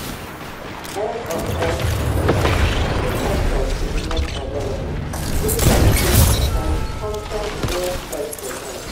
end of x post two con ten t is not available dis article contain con ten t wey x provide